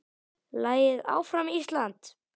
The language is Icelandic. Lagið Áfram Ísland!